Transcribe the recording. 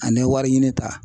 Ani wari ɲini ta.